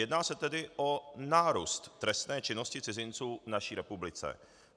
Jedná se tedy o nárůst trestné činnosti cizinců v naší republice.